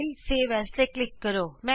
file save as ਤੇ click ਕਰੋ